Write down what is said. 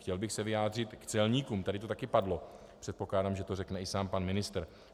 Chtěl bych se vyjádřit k celníkům, tady to taky padlo, předpokládám, že to řekne i sám pan ministr.